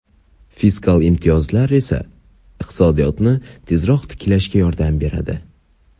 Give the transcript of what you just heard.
fiskal imtiyozlar esa iqtisodiyotni tezroq tiklashga yordam beradi.